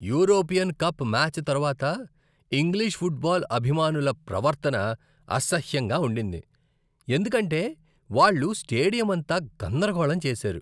European cup match తర్వాత English football అభిమానుల ప్రవర్తన అసహ్యంగా ఉండింది, ఎందుకంటే వాళ్ళు స్టేడియం అంతా గందరగోళం చేశారు.